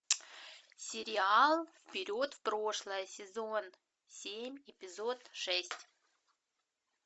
сериал вперед в прошлое сезон семь эпизод шесть